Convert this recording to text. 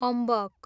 अम्बक